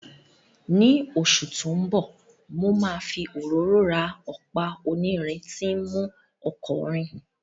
Ní oṣù tó ń bọ̀, mo máa fi òróró ra ọ̀pá onírin tí ń mú ọkọ̀ rìn